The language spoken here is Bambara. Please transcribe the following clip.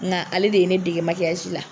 Nka ale de ye ne dege la.